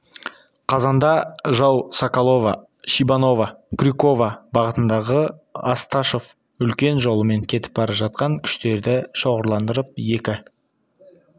қазанда жау соколово шибаново крюково бағытындағы осташов үлкен жолымен кетіп бара жатқан күштерді шоғырландырып екі